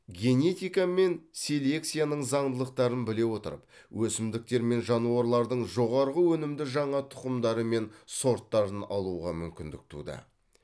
генетика мен селекцияның заңдылықтарын біле отырып өсімдіктер мен жануарлардың жоғарғы өнімді жаңа тұқымдары мен сорттарын алуға мүмкіндік туды